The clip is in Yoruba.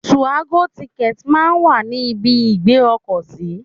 2Àgọ tìkẹ̀tí máa ń wà ní ibi ìgbé ọkọ̀ sí.